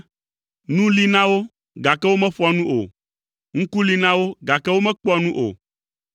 Nu li na wo, gake womeƒoa nu o, ŋku li na wo gake womekpɔa nu o,